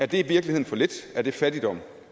det i virkeligheden for lidt er det fattigdom